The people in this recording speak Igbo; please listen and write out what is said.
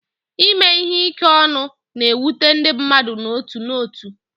Ime ihe ike ọnụ na-ewute ndị mmadụ n'otu n'otu.